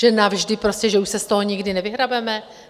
Že navždy, prostě že už se z toho nikdy nevyhrabeme?